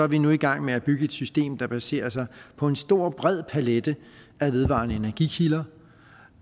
vi nu i gang med at bygge et system der er baseret på en stor bred palet af vedvarende energikilder